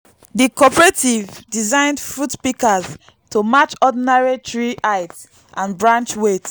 di cooperative designed fruit pikas to match ordinary tree height and branch weight